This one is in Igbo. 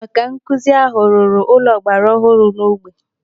Ọkankuzi ahụ ruru ụlọ ọgbara ọhụrụ n'ógbè.